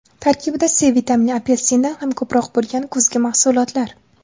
Tarkibida C vitamini apelsindan ham ko‘proq bo‘lgan kuzgi mahsulotlar.